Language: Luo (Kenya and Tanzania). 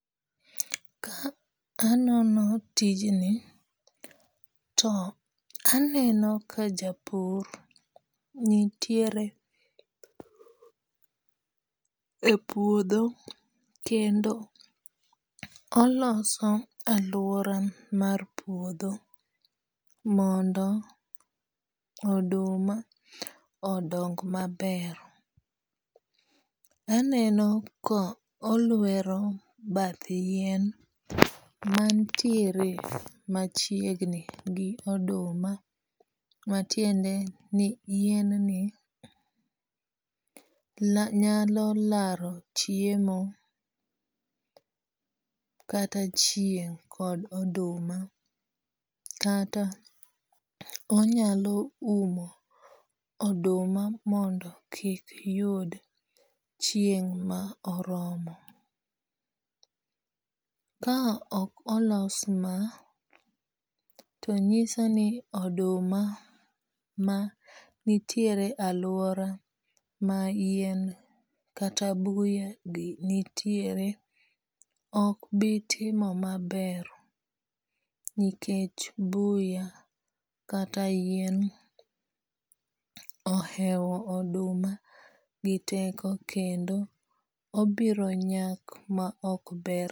Ka anono tijni, to aneno ka japur nitiere e puodho kendo oloso alwora nmar puodho mondo oduma odong maber. Aneno ko olwero bath yien mantiere machiegni gi oduma matiende ni yienni nyalo laro chiemo kata chieng' kod oduma, kata onyalo umo oduma mondo kik yud chieng' ma oromo. Ka ok olos ma, to nyiso ni oduma ma nitiere alwora mar yien kata buyagi nitiere, ok bi timo maber nikech buya kata yien ohewo oduma gi teko kendo obiro nyak ma ok ber.